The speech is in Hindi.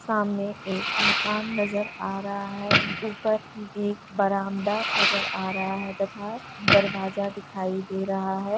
सामने एक मकान नजर आ रहा है ऊपर एक बरामदा नजर आ रहा है तथा दरवाजा दिखाई दे रहा है।